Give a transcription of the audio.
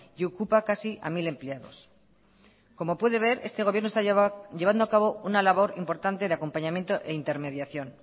y ocupa casi a mil empleados como puede ver este gobierno está llevando acabo una labor importante de acompañamiento e intermediación